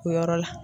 O yɔrɔ la